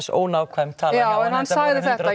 ónákvæm tala já en hann sagði þetta